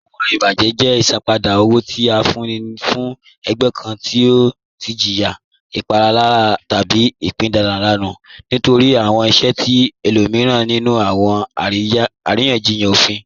Awọn ibajẹ jẹ isanpada owo ti a fún ní fún ẹ̀gbẹ̀ kàn ti ọ tì jìyà ìpalàrà tábí pípadanù nítorí awọn ìṣẹ̀ ti ẹ̀lòmiran nínú awọn àriyanjíyàn òfín